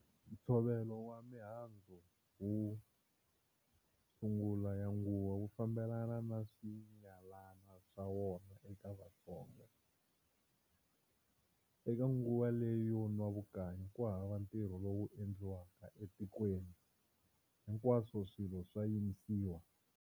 Nthsovelo wa mihandzu yo sungula ya nguva wufambelana na swiyalana swa wona eka Vatsonga. Eka nguva leyi yo nwa vukanyi kuhava ntirho lowu endliwaka e tikweni, hinkwaswo swilo swa yimisiwa.